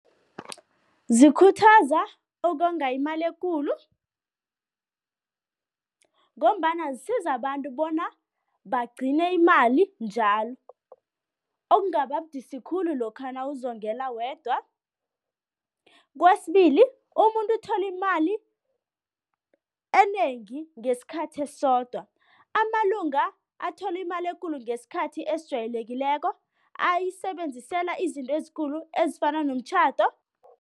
Zikhuthaza ukonga imali ekulu ngombana zisiza abantu bona bagcine imali njalo, okungaba budisi khulu lokha nawuzokungela wedwa. Kwesibili, umuntu uthola imali enengi ngesikhathi esisodwa. Amalunga athola imali ekulu ngesikhathi esijwayelekileko, ayisebenzisela izinto ezikulu ezifana nomtjhado.